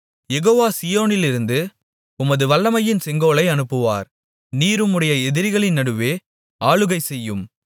யெகோவா சீயோனிலிருந்து உமது வல்லமையின் செங்கோலை அனுப்புவார் நீர் உம்முடைய எதிரிகளின் நடுவே ஆளுகைசெய்யும்